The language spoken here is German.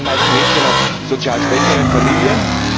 Das waren meist Mädchen aus sozial schwächeren Familien.